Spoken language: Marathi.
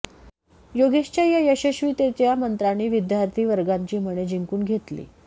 योगेशच्या या यशस्वीततेच्या मंत्रांनी विद्यार्थी वर्गाची मने जिंकून घेतली